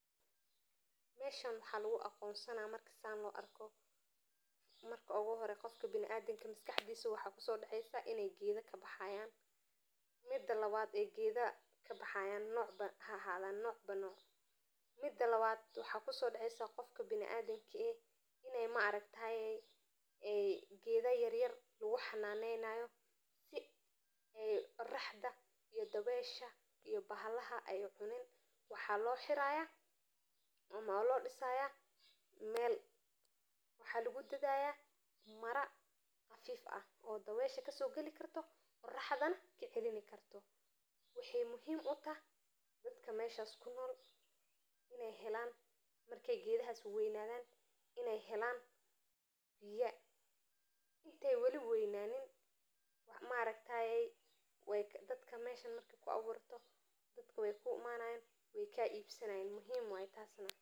Waa qol ka samaysan shaashadaha nadiifka ah ama plastik gaar ahaan loo sameeyay in lagu beerayo khudaarta, midhooyinka, iyo ubaxyo si ay u korayaan qabowga, dabaylaha, iyo cimilada adag, waxaana lagu isticmaalaa in lagu abuuro deegaano qaabaysan oo kaamil ah oo ay khudaartu ku kartaa maalin kasta oo sanadka, waxayna fududeyneysaa in la sameeyo beeraha gudaha oo aan la tiigsaneyn xilli roobad ama abaaraha, waxaana ku filan in ay bixiso cunto tayo sare leh oo nafaqo badan oo aan laga yaabin in lagu helo beeraha caadiga ah.